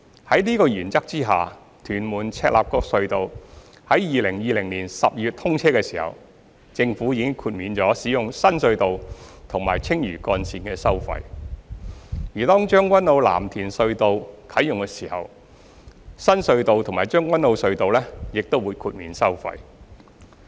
在此原則下，屯門―赤鱲角隧道在2020年12月通車時，政府已豁免使用新隧道和青嶼幹線的收費；而當將軍澳―藍田隧道啟用時，新隧道和將軍澳隧道亦會豁免收費。